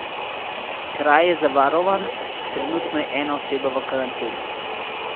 Kraj je zavarovan, trenutno je ena oseba v karanteni.